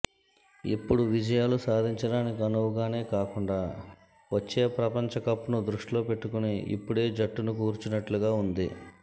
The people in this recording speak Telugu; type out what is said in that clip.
ఇప్పుడు విజయాలు సాధించడానికి అనువుగానే కాకుండా వచ్చే ప్రపంచ కప్ను దృష్టిలో పెట్టుకుని ఇప్పుడే జట్టును కూర్చినట్లుగా ఉంది